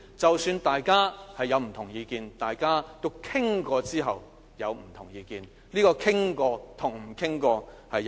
即使大家有不同意見，大家經討論後有不同意見，這經討論和不經討論是有很大分別的。